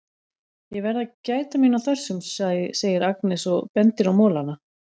Ég verð að gæta mín á þessum, segir Agnes og bendir á molana.